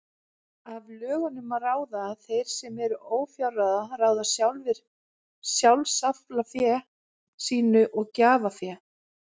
Af lögunum má ráða að þeir sem eru ófjárráða ráða sjálfir sjálfsaflafé sínu og gjafafé.